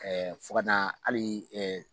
fo ka na hali